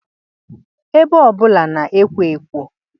Ebe ọbụla na-ekwo ekwo